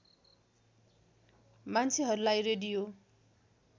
मान्छेहरूलाई रेडियो